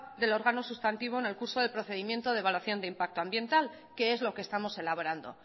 del órgano sustantivo en el curso de procedimiento de evaluación de impacto ambiental que es lo que estamos elaborando